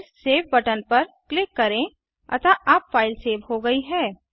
फिर save button पर click करें अतः अब फ़ाइल सेव हो गई है